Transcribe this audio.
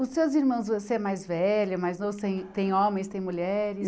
Os seus irmãos, você é mais velho, mais novo, tem tem homens, tem mulheres?